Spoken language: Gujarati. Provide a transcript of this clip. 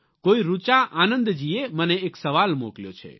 કોઈ ઋચા આનંદજીએ મને એક સવાલ મોકલ્યો છે